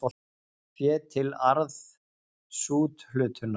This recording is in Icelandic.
Fé til arðsúthlutunar.